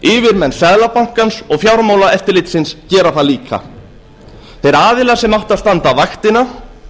yfirmenn seðlabankans og fjármálaeftirlitsins gera það líka þeir aðilar sem áttu að standa vaktina